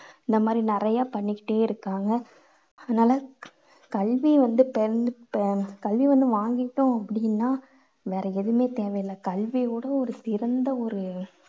இந்த மாதிரி நிறைய பண்ணிக்கிட்டே இருக்காங்க. அதுனால கல்வி வந்து பெண் ஆஹ் கல்வி வந்து வாங்கிட்டோம் அப்படின்னா வேற எதுவுமே தேவையில்ல. கல்வியை விட ஒரு சிறந்த ஒரு